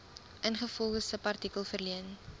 ingevolge subartikel verleen